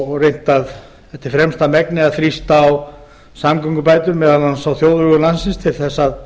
og reynt eftir fremsta megni að þrýsta á samgöngubætur meðal annars á þjóðvegum landsins til þess að